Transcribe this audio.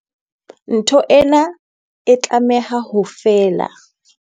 Ntho ena e tlameha ho fela.